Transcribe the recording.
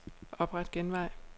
Opret genvej.